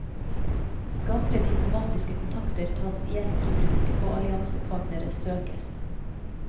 Gamle diplomatiske kontakter tas igjen i bruk, og alliansepartnere søkes.